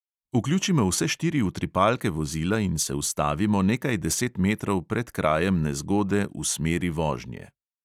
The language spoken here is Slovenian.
Vključimo vse štiri utripalke vozila in se ustavimo nekaj deset metrov pred krajem nezgode v smeri vožnje.